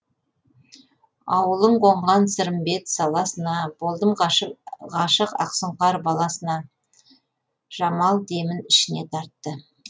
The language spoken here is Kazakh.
ауылың қонған сырымбет саласына болдым ғашық ақ сұңқар баласына жамал демін ішіне тартты